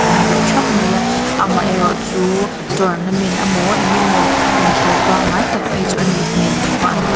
ding deuh thap mai a amaherawhchu tournament amaw engemaw inkhelh pangngai tak phei chu anih hmel loh ava an prac --